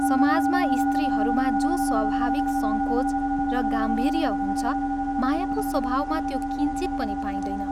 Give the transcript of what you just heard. समाजमा स्त्रीहरूमा जो स्वाभाविक संकोच र गाम्भीर्य हुन्छ मायाको स्वभावमा त्यो किंचित पनि पाइँदैन।